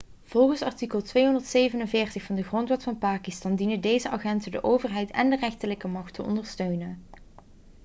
volgens artikel 247 van de grondwet van pakistan dienen deze agenten de overheid en de rechterlijke macht te ondersteunen